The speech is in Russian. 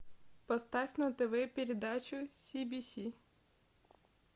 поставь на тв передачу си би си